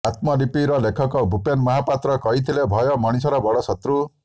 ଆତ୍ମଲିପିର ଲେଖକ ଭୁପେନ୍ ମହାପାତ୍ର କହିଥିଲେ ଭୟ ମଣିଷର ବଡ଼ ଶତ୍ରୁ